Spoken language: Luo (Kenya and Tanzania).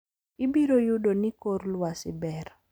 Ibiro yudo ni kor lwasi ber.